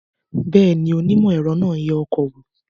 Bẹ́ẹ̀ ni, onímọ̀-ẹ̀rọ náà ń yẹ ọkọ̀ wò